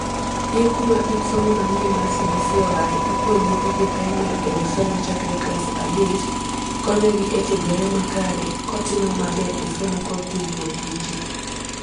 E (IB) kuma kit somo manyien mar CBC oae, ipuonj nyithi joprimar hero somo chakre klas abich. Konyo gi e tiegore makare ko timo maber e somo kod tudruok gi ji.